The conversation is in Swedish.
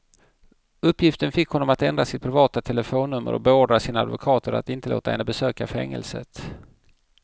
Uppgiften fick honom att ändra sitt privata telefonnummer och beordra sina advokater att inte låta henne besöka fängelset.